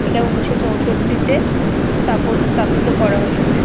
'' এটা উনিশ শ'''' চৌষট্টিতে স্থাপ স্থাপিত করা হয়েছে ।''